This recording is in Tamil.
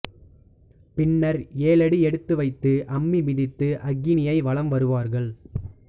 பின்னர் ஏழடி எடுத்து வைத்து அம்மி மிதித்து அக்கினியை வலம் வருவார்கள்